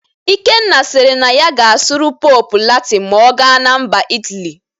Ikenna siri na ya ga-asụrụ Pope Latịn ma ọ gana MbaIt aly